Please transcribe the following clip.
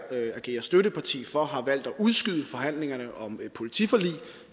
agerer støtteparti for har valgt at udskyde forhandlingerne om et politiforlig